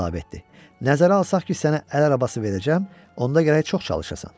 Nəzərə alsaq ki, sənə əl arabası verəcəm, onda gərək çox çalışasan.